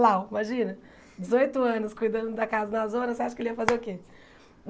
Lá, imagina, dezoito anos cuidando da casa na zona, você acha que ele ia fazer o quê?